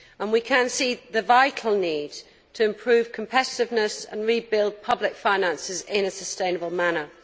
We can see the vital need to improve competitiveness and rebuild public finances in a sustainable manner.